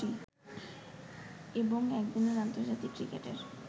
এবং একদিনের আন্তর্জাতিক ক্রিকেটের